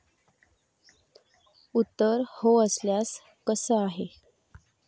उत्तर हो असल्यास, कसं आहे?